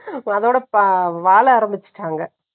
அதாவது, அதோட அதோட வாழ ஆரம்பிச்சுட்டாங்க.